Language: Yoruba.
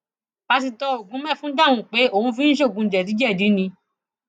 pásítọ ogunmẹfun dáhùn pé òun fi ń ṣoògùn jẹdíjẹdì ni